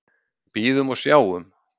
Bíðum og sjáum.